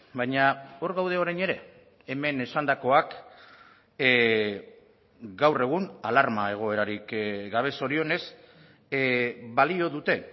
baina hor gaude orain ere hemen esandakoak gaur egun alarma egoerarik gabe zorionez balio dute